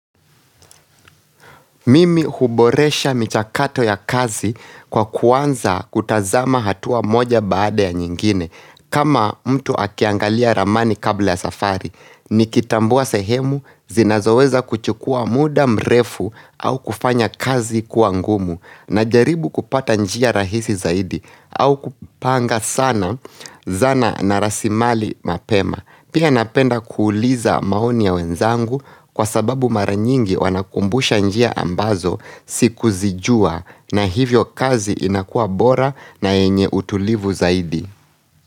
Mimi huboresha michakato ya kazi kwa kuanza kutazama hatua moja baada ya nyingine kama mtu akiangalia ramani kabla ya safari Nikitambua sehemu zinazoweza kuchukua muda mrefu au kufanya kazi kuwa ngumu najaribu kupata njia rahisi zaidi au kupanga sana zana na rasimali mapema Pia napenda kuuliza maoni ya wenzangu kwa sababu mara nyingi wanakumbusha njia ambazo sikuzijua na hivyo kazi inakuwa bora na yenye utulivu zaidi.